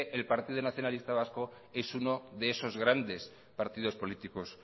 el partido nacionalista vasco es uno de esos grandes partidos políticos